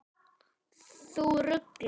Þú ruglar.